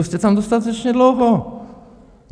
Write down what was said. Už jste tam dostatečně dlouho.